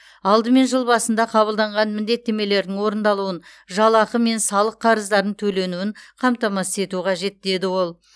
алдымен жыл басында қабылданған міндеттемелердің орындалуын жалақы мен салық қарыздарын төленуін қамтамасыз ету қажет деді ол